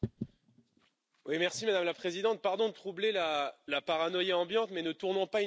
Madame la Présidente, pardon de troubler la paranoïa ambiante, mais ne tournons pas inutilement autour du pot.